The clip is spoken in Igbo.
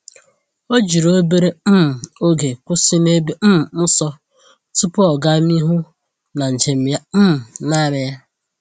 O jiri obere um oge kwụsị n’ebe um nsọ tupu ọ gaa n’ihu n'njem ya um naanị ya.